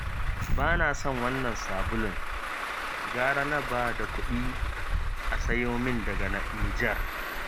Ba na son wannan sabulun. gara na ba da kuɗi a sayo min daga Nijar